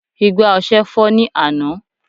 igbá ọsẹ fọ́ ní àná